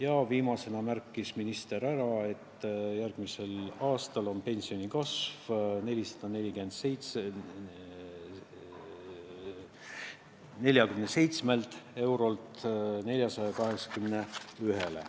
Ja viimasena märkis minister, et järgmisel aastal kasvab pension 447 eurolt 481 eurole.